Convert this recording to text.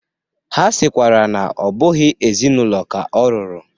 Ha sịkwara na ọ bụghị ezi na ụlọ ka o ruru.